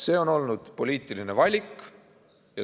See on olnud poliitiline valik.